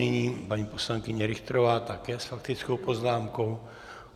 Nyní paní poslankyně Richterová, také s faktickou poznámkou.